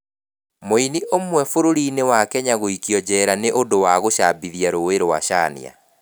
Mũini ũmwe bũrũri-inĩ wa Kenya gũikio njera nĩ ũndũ wa gũcambithia rũũĩ rwa caania